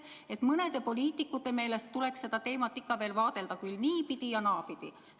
Aga mõne poliitiku meelest tuleks seda teemat ikka veel vaadelda küll niipidi, küll naapidi.